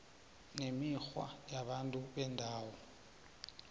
nemikghwa yabantu bendawo